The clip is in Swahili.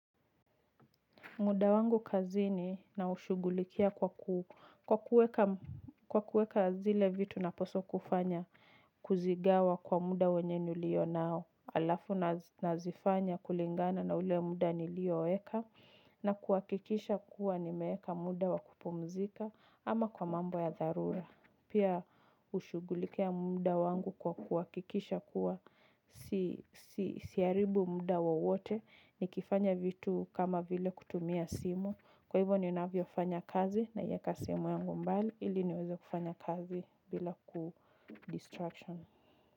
Muda wangu kazini na ushugulikia kwa kuweka zile vitu napaswa kufanya kuzigawa kwa muda wenye nilio nao. Alafu nazifanya kulingana na ule muda nilioweka na kuhakikisha kuwa nimeweka muda wa kupumzika ama kwa mambo ya dharura. Pia hushugulikia muda wangu kwa kuhakikisha kuwa siharibu muda wowote nikifanya vitu kama vile kutumia simu. Kwa hivyo ninavyofanya kazi naiweka simu yangu mbali ili niweze kufanya kazi bila ku distraction.